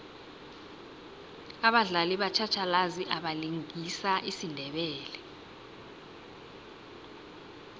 abadlali batjhatjhalazi abalingisa isindebele